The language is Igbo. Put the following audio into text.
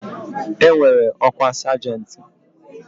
E nwere ọkwa sajenti.